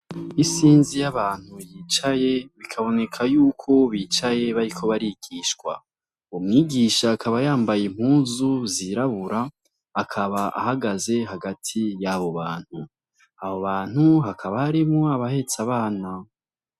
Isinzi y'abantu bicaye, bikaboneka yuko bicaye bariko barigishwa uwo mwigisha akaba yambaye impuzu zirabura akaba ahagaze hagati yabo bantu abo bantu hakaba harimwo abahetse abana.